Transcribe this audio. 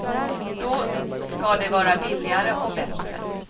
Då ska det vara billigare och bättre.